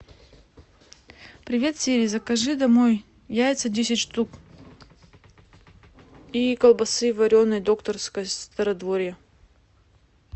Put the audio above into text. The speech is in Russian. привет сири закажи домой яйца десять штук и колбасы вареной докторской стародворье